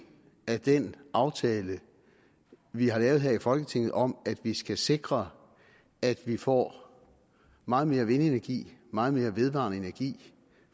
af den aftale vi har lavet her i folketinget om at vi skal sikre at vi får meget mere vindenergi meget mere vedvarende energi